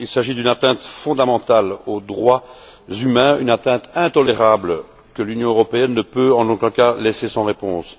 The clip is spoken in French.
Il s'agit d'une atteinte fondamentale aux droits humains, une atteinte intolérable que l'Union européenne ne peut en aucun cas laisser sans réponse.